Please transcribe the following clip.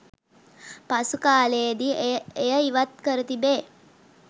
පසුකාලයේදි එය ඉවත් කර තිබේ.